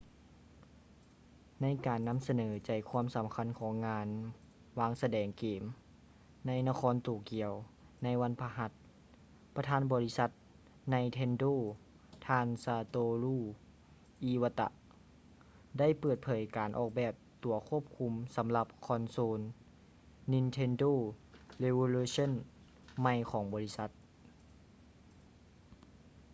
ໃນການນຳສະເໜີໃຈຄວາມສຳຄັນຂອງງານ ວາງສະແດງເກມ ໃນນະຄອນໂຕກຽວ ໃນວັນພະຫັດ ປະທານບໍລິສັດ ໄນເທນໂດ nintendo ທ່ານ ຊາໂຕຣູ ອີວາຕະ satoru iwata ໄດ້ເປີດເຜີຍການອອກແບບຕົວຄວບຄຸມສຳລັບຄອນໂຊນ nintendo revolution ໃໝ່ຂອງບໍລິສັດ